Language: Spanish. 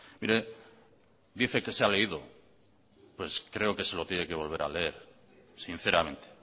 mire dice que se ha leído pues creo que se lo tiene que volver a leer sinceramente